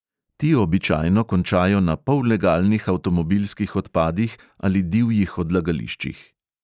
Ti običajno končajo na pollegalnih avtomobilskih odpadih ali divjih odlagališčih.